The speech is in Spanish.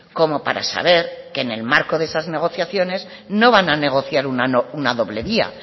como para saber que en el marco de esas negociaciones no van a negociar una doble vía